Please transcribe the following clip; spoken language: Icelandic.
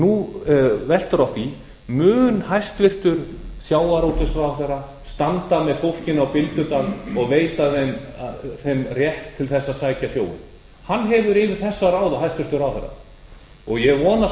nú veltur á því mun hæstvirtur sjávarútvegsráðherra standa með fólkinu á bíldudal og veita þeim rétt til að sækja sjóinn hann hefur yfir þessu að ráða hæstvirtur ráðherra og ég vona svo